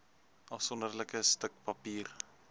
afsonderlike stuk papier